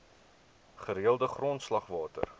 gereelde grondslag water